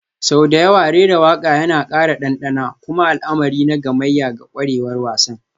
Sau da yawa rera waƙa yana ƙara ɗanɗana kuma al'amari na gamayya ga ƙwarewar wasan,